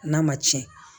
N'a ma tiɲɛ